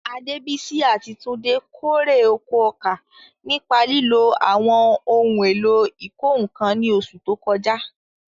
Adebisi àti Tunde kórè oko ọkà nípa lílo ohun èlò ìkọ́ nǹkan ní oṣù tó kọjá.